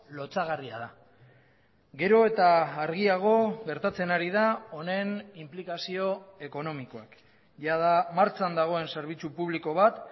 lotsagarria da gero eta argiago gertatzen ari da honen inplikazio ekonomikoak jada martxan dagoen zerbitzu publiko bat